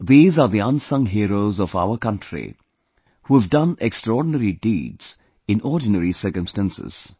These are the unsung heroes of our country, who have done extraordinary deeds in ordinary circumstances